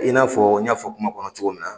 I n'a fɔ n y'a fɔ kuma kɔnɔ cogo min na.